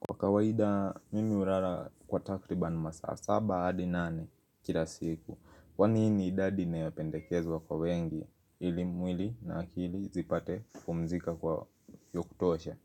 Kwa kawaida mimi hulala kwa takriban masaa saba hadi nane kila siku. Kwani hii ni idadi inayopendekezwa kwa wengi ili mwili na akili zipate kupumzika kwa ya kutosha.